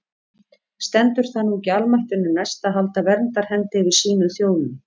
Stendur það nú ekki almættinu næst að halda verndarhendi yfir sínum þjónum?